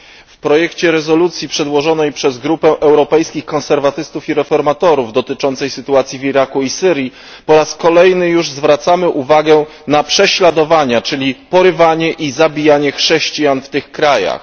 W projekcie rezolucji przedłożonej przez grupę Europejskich Konserwatystów i Reformatorów dotyczącej sytuacji w Iraku i Syrii po raz kolejny już zwracamy uwagę na prześladowania, czyli porywanie i zabijanie chrześcijan w tych krajach.